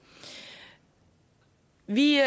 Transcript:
vi